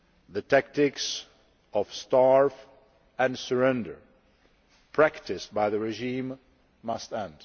The tactics of starve and surrender' practised by the regime must end.